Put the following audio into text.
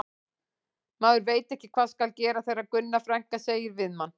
Maður veit ekki hvað skal gera þegar Gunna frænka segir við mann